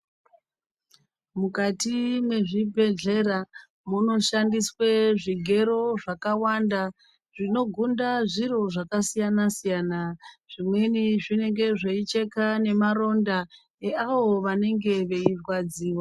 Mukati mwezvibhedhlera munoshandiswe zvigero zvakawanda zvinogunda zviro zvakasiyana-siyana. Zvimweni zvinenge zveicheka nemaronda eavo vanenge veirwadziwa.